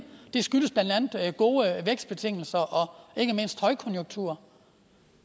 det skyldes blandt andet gode vækstbetingelser og ikke mindst højkonjunktur